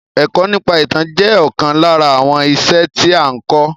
Èkọ́ nípa ìtàn jẹ́ ọ̀kan lára àwọn iṣẹ́ tí a n kọ́.